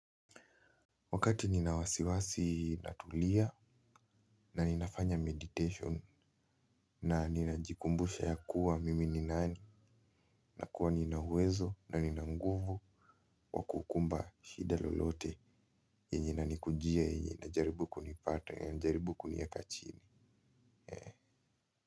Wakati nina wasiwasi natulia na ninafanya meditation na ninajikumbusha yakuwa mimi ni nani na kuwa nina uwezo na nina nguvu wa kukumba shida lolote yenye inanikujia yenye inajaribu kunipata ya inajaribu kunieka chini.